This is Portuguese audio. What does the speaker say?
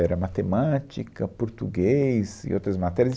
Era Matemática, Português e outras matérias.